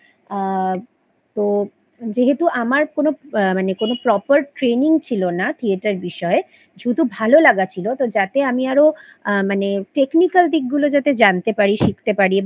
আ যেহেতু আমার কোনো মানে Proper Training ছিল না থিয়েটার বিষয়ে শুধু ভালো লাগা ছিল তো যাতে আমি আরো মানে Technical দিকগুলো যাতে জানতে পারি শিখতে পারি